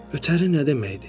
Ötəri nə deməkdir?